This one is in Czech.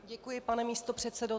Děkuji, pane místopředsedo.